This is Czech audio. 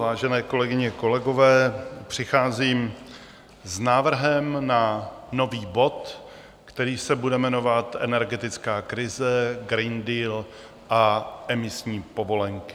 Vážené kolegyně, kolegové, přicházím s návrhem na nový bod, který se bude jmenovat Energetická krize, Green Deal a emisní povolenky.